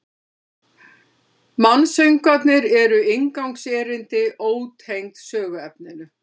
Mansöngvarnir eru inngangserindi, ótengd söguefninu.